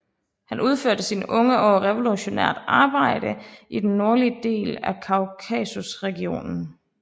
Han udførte i sine unge år revolutionært arbejde i den nordlige del af Kaukasusregionen